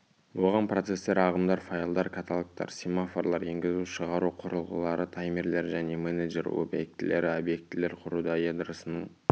оған процестер ағымдар файлдар каталогтар семафорлар енгізу-шығару құрылғылары таймерлер және менеджер объектілері объектілер құруда ядросының